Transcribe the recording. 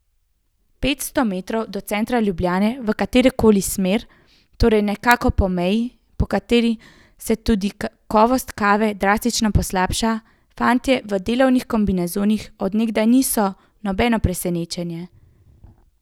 Petsto metrov od centra Ljubljane v katerokoli smer, torej nekako po meji, po kateri se tudi kakovost kave drastično poslabša, fantje v delovnih kombinezonih od nekdaj niso nobeno presenečenje.